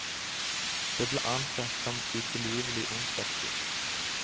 Det ble ansett som utilgivelig ondskapsfullt.